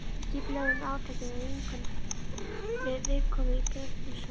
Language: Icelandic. Við skipulögðum átakið með viðkomu í Bernhöftsbakaríi.